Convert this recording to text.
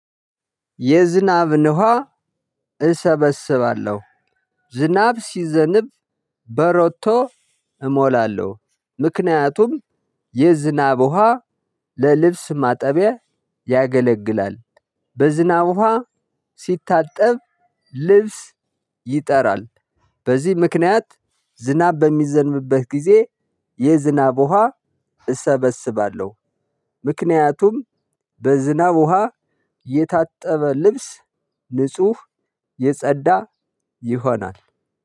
የዝናብን ውሃ ነው እሰበስባለሁ። ዝናብ ሲዘንብ በሮቶ እሞላለሁ። ምክንያቱም የዝናብ ውሃ ለልብስ ማጠቢያ ያገለግላል። በዝናብ ውሃ ሲታጠብ ልብስ ይጠራል። በዚህ ምክንያት ዝናብ በሚዘንብበት ጊዜ የዝናብ ውሃ እሰበስባለሁ። ምክንያቱም በዝናብ ውሃ የታጠበ ልብስ ንጹህ የጸዳ ይሆናል።